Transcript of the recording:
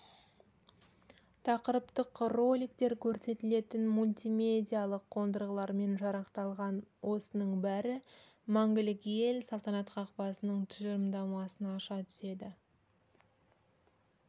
тақырыптық роликтер көрсетілетін мультимедиялық қондырғылармен жарақталған осының бәрі мәңгілік ел салтанат қақпасының тұжырымдамасын аша түседі